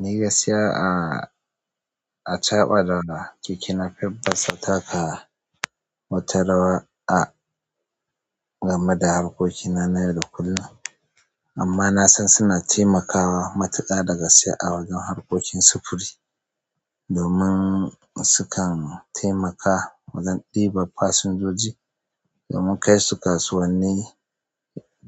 Ni gaskiya a-a-a caɓa da keke napep basu taka wata rawa gameda harkokina na yau da kullum amma na san suna taimakawa matuka da gaske a wajen harkokin sufuri domin sukan taimaka wajen ɗiban fasinjoji domin kai su kasuwanni